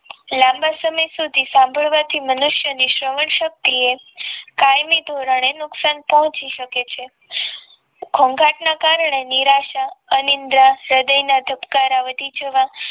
લાંબા સમય સુધી સાંભળવાથી મનુષ્ય ની શ્રવણ શક્તિ એક કાયમી ધોરણે નુકસાન પહોંચી શકે છે ઘોઘાટના કારણે નિરાશા અનિદ્રા હૃદયના ધબકારા વધી જવા